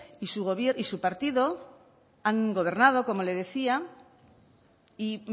y su partido han gobernado como le decía y